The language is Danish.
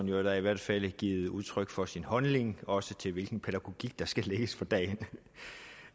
jo i hvert fald givet udtryk for sin holdning også til hvilken pædagogik der skal lægges for dagen